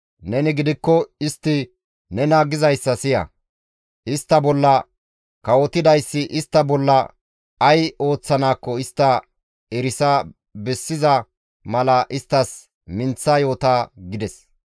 Neni gidikko istti nena gizayssa siya; istta bolla kawotidayssi istta bolla ay ooththanaakko istta erisa bessiza mala isttas minththa yoota» gides.